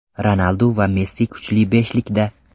Ronaldu va Messi kuchli beshlikda.